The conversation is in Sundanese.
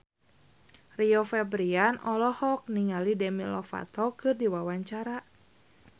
Rio Febrian olohok ningali Demi Lovato keur diwawancara